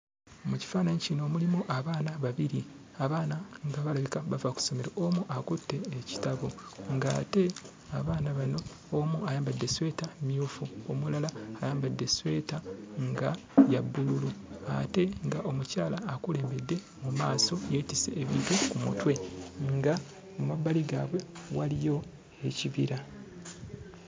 Mu kifaananyi kino mulimu abaana babiri. Abaana nga balabika bava ku ssomero, omu akutte ekitabo ng'ate abaana bano omu ayambadde essweta mmyufu, omulala ayambadde essweta nga ya bbululu ate ng'omukyala akulembedde mu maaso yeetisse ebintu ku mutwe, nga mu mabbali gaabwe waliyo ekibira.